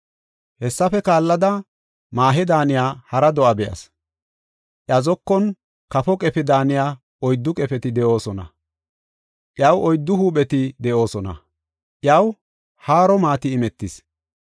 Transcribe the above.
“Hessafe kaallada, maahe daaniya hara do7a be7as. Iya zokon kafo qefe daaniya oyddu qefeti de7oosona. Iyaw oyddu huupheti de7oosona; iyaw haaro maati imetis.